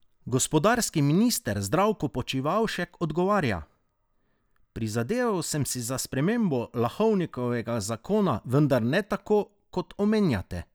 Gospodarski minister Zdravko Počivalšek odgovarja: "Prizadeval sem si za spremembo Lahovnikovega zakona, vendar ne tako, kot omenjate.